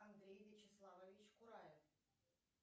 андрей вячеславович кураев